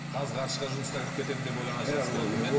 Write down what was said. қазғарышқа жұмысқа кіріп кетемін деп ойлаған шығарсыз